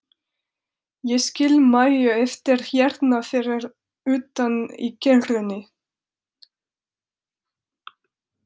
Ég skil Maju eftir hérna fyrir utan í kerrunni.